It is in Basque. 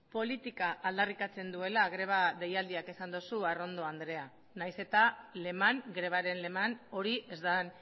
politika aldarrikatzen duela greba deialdiak esan duzu arrondo andrea nahiz eta leman grebaren leman hori ez den